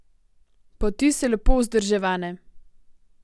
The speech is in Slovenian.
Poti so lepo vzdrževane.